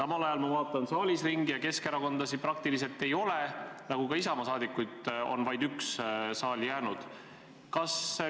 Praegu ma vaatan saalis ringi ja Keskerakonda siin praktiliselt ei ole, Isamaa saadikuid on vaid üks saali jäänud.